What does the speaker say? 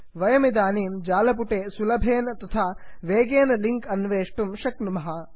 वयमिदानीं जालपुटे सुलभेन तथा वेगेन लिङ्क् अन्वेष्टुं शक्नुमः